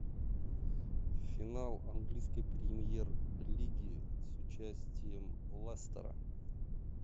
финал английской премьер лиги с участием лестера